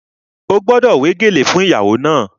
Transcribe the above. Ó gbọ́dọ̀ wé gèlè fún ìgbéyàwó náà!